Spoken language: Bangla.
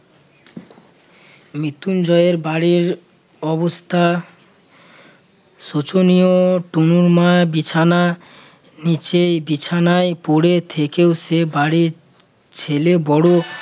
মৃত্যুঞ্জয়ের বাড়ির অবস্থা শোচনীয় তনুর মা বিছানা নিচেই বিছানায় পড়ে থেকে সে বাড়ির ছেলে বড়